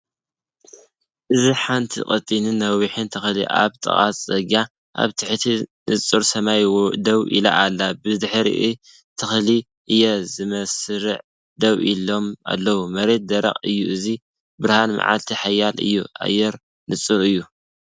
እዚ ሓንቲ ቀጢንን ነዋሕን ተክሊ ኣብ ጥቓ ጽርግያ ኣብ ትሕቲ ንጹር ሰማይ ደው ኢላ ኣላ። ብድሕሪት ተክሊ ስየ ብመስርዕ ደው ኢሎም ኣለው፣ መሬት ደረቕ እዩ። እዚ ብርሃን መዓልቲ ሓያል እዩ፡ ኣየር ንጹር እዩ።